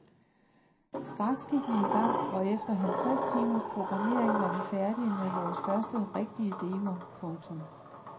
Straks gik vi i gang og efter halvtreds timers programmering var vi færdige med vores første rigtige demo. punktum